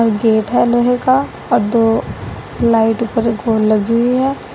Gate है लोहे का और दो लाइट ऊपर को लगी हुई है।